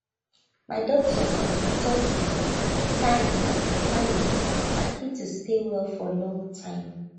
my doctor um talk say time um planning na key to stay well for long time